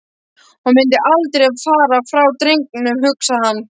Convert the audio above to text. Hún mundi aldrei fara frá drengnum, hugsaði hann.